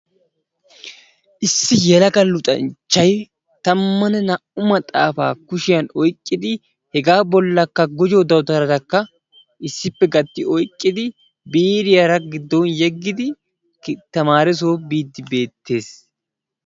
Issi yelaga luxanchchay tammanne naa''u maxaafata kushiyaan oyqqidi hega bollakka gujjo dawutaratakka issippe gati oyqqidi biriyaara giddonyeedigi tamaaresso biide beettees.